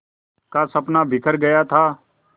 का सपना बिखर गया था